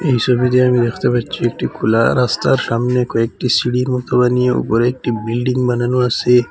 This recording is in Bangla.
এই সবিতে আমি দেখতে পাচ্ছি একটি খোলা রাস্তার সামনে কয়েকটি সিঁড়ির মতো বানিয়ে ওপরে একটি বিল্ডিং বানানো আসে।